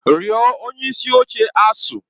Rịọ onye isi oche ASUU!